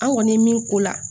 An kɔni ye min k'o la